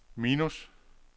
minus